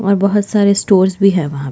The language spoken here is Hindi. और बहोत सारे स्टोर्स भी है वहाँ --